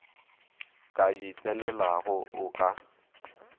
ka di tsenelago o ka